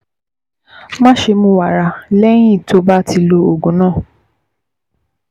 Máṣe mu wàrà lẹ́yìn tó o bá ti lo oògùn náà